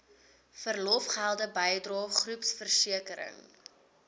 verlofgelde bydrae groepversekering